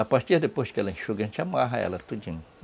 A partir depois que ela enxuga, a gente amarra ela todinha.